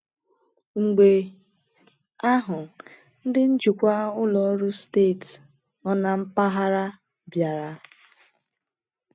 Mgbe ahụ, ndị njikwa ụlọ ọrụ steeti nọ na mpaghara bịara.